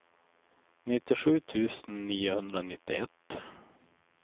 nittiosju tusen niohundranittioett